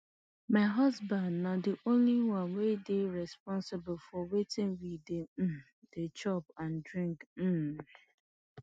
my husband na di only one wey dey responsible for wetin we um dey chop and drink um